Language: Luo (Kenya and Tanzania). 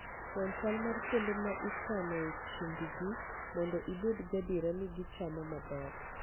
Non chal mar kuonde ma ikanoe chiembgi mondo ibed gadier ni gichamo maber.